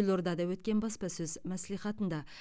елордада өткен баспасөз мәслихатында